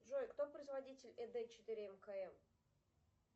джой кто производитель эд четыре мкм